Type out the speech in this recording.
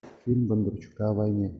фильм бондарчука о войне